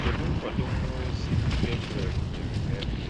Kedu nkwado mmụọ ozi Gabrịel nyere Meri?